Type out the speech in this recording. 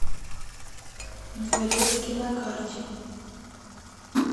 дворецкий на карте